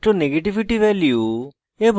pauling electronegativity value এবং